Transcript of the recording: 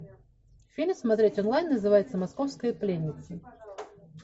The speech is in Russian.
фильм смотреть онлайн называется московская пленница